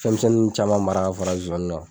Fɛnmisɛnnin nun caman mara ka fara zozani kan.